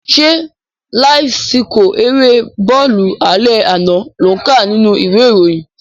Ṣé láíf síkọ̀ erée bọ́ọ̀lù alẹ́ àná lò ń kà nínú ìwé ìròyìn?